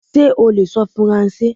Ṣé o lè sọ Faransé?